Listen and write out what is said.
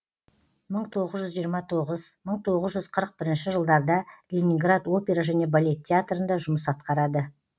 мың тоғыз жүз жиырма тоғыз мың тоғыз жүз қырық бірінші жылдарда ленинград опера және балет театрында жұмыс атқарады